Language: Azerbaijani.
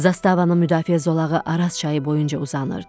Zastavanın müdafiə zolağı Araz çayı boyunca uzanırdı.